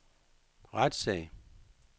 retssag